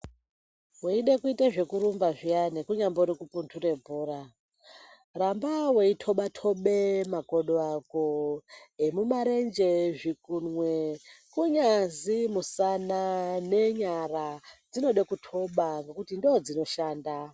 Weide kuite zvekurumba zviyani kunyambori kupundure bhora, ramba weitoba-toba makodo ako emumarenje, zvikunwe kunyazi musana nenyara dzinode kutoba ngokuti ndoodzinoshanda.